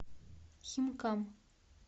химкам